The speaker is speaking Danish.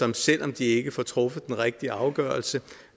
der selv om de ikke får truffet den rigtige afgørelse